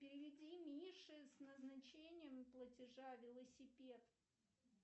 переведи мише с назначением платежа велосипед